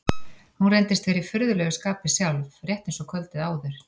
Hún reyndist vera í furðulegu skapi sjálf, rétt eins og kvöldið áður.